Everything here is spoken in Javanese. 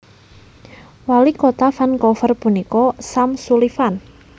Walikota Vancouver punika Sam Sullivan